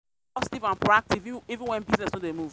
proactive even when business no dey move.